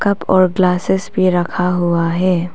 Cup और glasses पर रखा हुआ है।